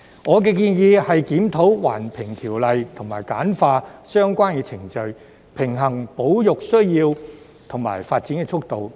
我的建議是檢討《環境影響評估條例》及簡化相關程序，平衡保育需要與發展速度。